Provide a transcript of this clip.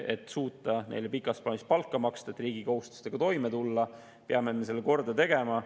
Et suuta neile pikas plaanis palka maksta ja et riigi kohustustega toime tulla, peame me selle korda tegema.